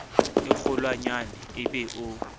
e kgolwanyane e be o